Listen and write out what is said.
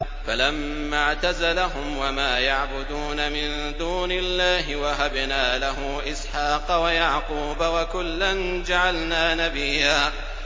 فَلَمَّا اعْتَزَلَهُمْ وَمَا يَعْبُدُونَ مِن دُونِ اللَّهِ وَهَبْنَا لَهُ إِسْحَاقَ وَيَعْقُوبَ ۖ وَكُلًّا جَعَلْنَا نَبِيًّا